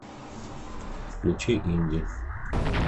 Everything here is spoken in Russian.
включи инди